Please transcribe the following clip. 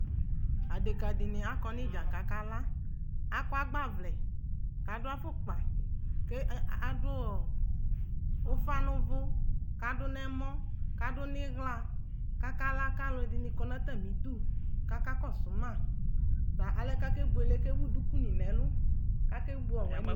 Adekǝdɩnɩ akɔ n'ɩdza k'akala Akɔ agbavlɛ , k'adʋ afʋkpa, ke e adʋ ɔ ʋfa n'ʋvʋ kadʋ n'ɛmɔ, k'adʋ n 'ɩɣla, kakala; k'alʋɛdɩnɩ kɔ n'atamidu kakakɔsʋ ma : bʋa alɛnɛɛ akebuele k'ewu dukunɩ n'ɛlʋ ake